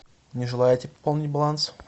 не желаете пополнить баланс